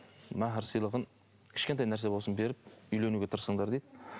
махр сыйлығын кішкентай нәрсе болсын беріп үйленуге тырысыңдар дейді